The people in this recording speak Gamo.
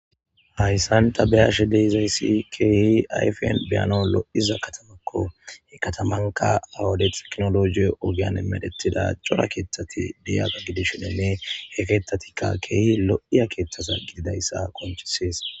Hayssanta beyashe deizayssi keehi ayfien biyano lo7iza katamakko he katamanka awude teknologi ogiyan emedetida cora keeththati diyaga gidishinenne heketatikka keehi lo7iya keeththasa gididayssa konchisees